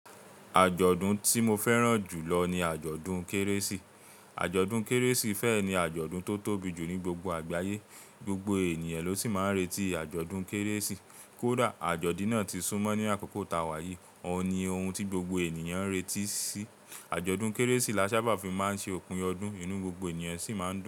Àjọ̀dún tí mo fẹ́ràn jù lọ ni àjọ̀dún Kérésì. Àjọ̀dún Kérésì fẹ́ ni àjọ̀dún tó tóbi jù ní gbogbo àgbáyé, gbogbo ènìyàn ló sì máa ń retí àjọ̀dún Kérésì. Kódà àjọ̀dún náà ti súnmọ́ ní àkókò ta wá yìí, òun ni ohun tí gbogbo ènìyàn ń retí sí. Àjọ̀dún Kérésì la sábà fi má ń ṣe òpin ọdún, inú gbogbo ènìyàn sì má ń dùn.